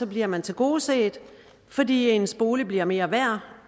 bliver man tilgodeset fordi ens bolig bliver mere værd